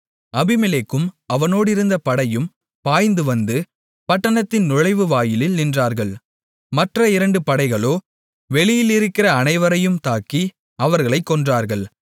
அபிமெலேக்கும் அவனோடிருந்த படையும் பாய்ந்துவந்து பட்டணத்தின் நுழைவுவாயிலில் நின்றார்கள் மற்ற இரண்டு படைகளோ வெளியிலிருக்கிற அனைவரையும் தாக்கி அவர்களைக் கொன்றார்கள்